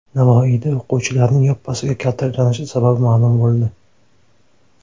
Navoiyda o‘quvchilarning yoppasiga kaltaklanishi sababi ma’lum bo‘ldi .